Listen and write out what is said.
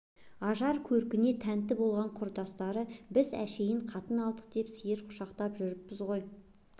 ажар-көркіне тәнті болған құрдастары біз әншейін қатын алдық деп сиыр құшақтап жүріппіз ғой